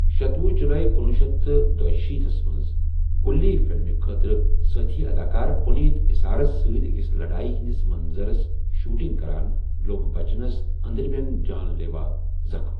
شتۄہُ جُلاے کُنوُہ شیتھ تہٕ دُشیٖتھ تھس منٛز، قُلی خٲطرٕسٲتھی اَداکار پُنیٖت اِسارس سۭتۍ أکِس لڑایہِ ہِنٛدِس منظَرس شوٗٹِنٛگ کَران، لو٘گ بَچنس أنٛدرَمن جان لیوا زخم ۔